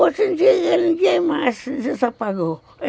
Hoje em dia ninguém mais se desapagou.